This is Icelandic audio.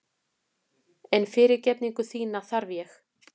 En fyrirgefningu þína þarf ég.